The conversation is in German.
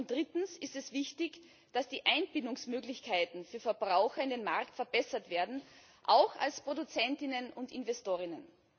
Drittens ist es wichtig, dass die Einbindungsmöglichkeiten für Verbraucher in den Markt verbessert werden, auch als ProduzentInnen und InvestorInnen.